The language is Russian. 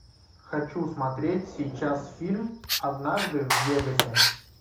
хочу смотреть сейчас фильм однажды в вегасе